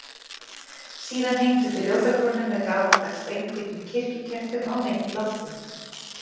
Síðan hengdu þau ljósakrónu með gamaldags, beinhvítum kirkjukertum á mitt loftið.